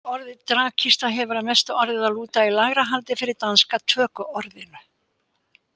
Orðið dragkista hefur að mestu orðið að lúta í lægra haldi fyrir danska tökuorðinu.